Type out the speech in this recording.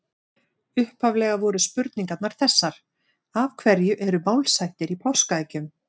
Upphaflega voru spurningarnar þessar: Af hverju eru málshættir í páskaeggjum?